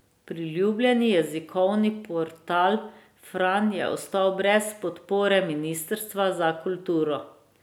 Priljubljeni jezikovni portal Fran je ostal brez podpore ministrstva za kulturo.